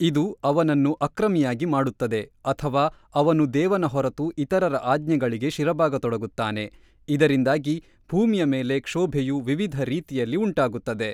ಇದು ಅವನನ್ನು ಅಕ್ರಮಿಯಾಗಿ ಮಾಡುತ್ತದೆ ಅಥವಾ ಅವನು ದೇವನ ಹೊರತು ಇತರರ ಆಜ್ಞೆಗಳಿಗೆ ಶಿರಬಾಗತೊಡಗುತ್ತಾನೆ ಇದರಿಂದಾಗಿ ಭೂಮಿಯ ಮೇಲೆ ಕ್ಷೊಭೆಯು ವಿವಿಧ ರೀತಿಯಲ್ಲಿ ಉಂಟಾಗುತ್ತದೆ.